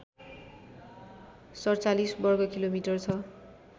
४७ वर्गकिलोमिटर छ